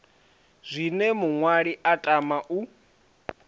zwine muṅwali a tama u